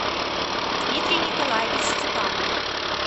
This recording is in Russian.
дмитрий николаевич степанов